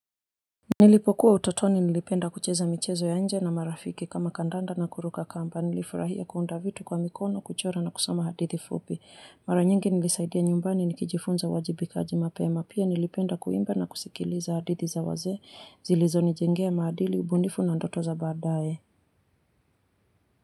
Nilipokuwa utotoni nilipenda kucheza michezo ya nje na marafiki kama kandanda na kuruka kamba nilifurahia kuunda vitu kwa mikono kuchora na kusoma hadithi fupi mara nyingi nilisaidia nyumbani nikijifunza uwajibikaji mapema pia nilipenda kuimba na kusikiliza hadithi za wazee zilizo nijengea maadili ubunifu na ndoto za baadaye.